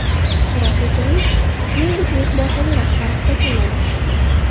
Qoraxo‘jayev, shuningdek, mehmonxona rahbari hisoblanadi.